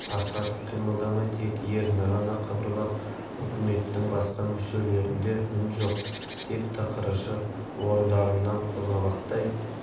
астахов қимылдамай тек ерні ғана қыбырлап үкіметтің басқа мүшелерінде үн жоқ тек тықыршып орындарынан қозғалақтай